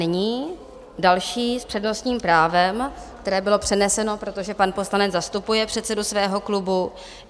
Nyní další s přednostním právem, které bylo přeneseno, protože pan poslanec zastupuje předsedu svého klubu.